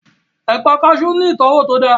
Ẹ̀pà kaasú ní ìtọ́wò tó dáa